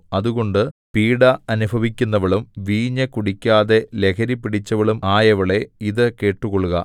അതുകൊണ്ട് പീഢ അനുഭവിക്കുന്നവളും വീഞ്ഞു കുടിക്കാതെ ലഹരിപിടിച്ചവളും ആയവളേ ഇതു കേട്ടുകൊള്ളുക